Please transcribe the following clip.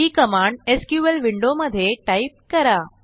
ही command SQL window मध्ये type करा